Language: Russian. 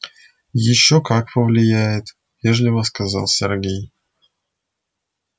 ещё как повлияет вежливо сказал сергей